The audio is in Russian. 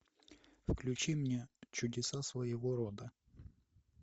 включи мне чудеса своего рода